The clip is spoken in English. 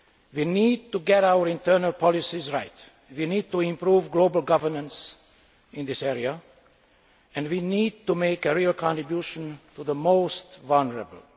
We need to get our internal policies right, we need to improve global governance in this area and we need to make a real contribution to the most vulnerable.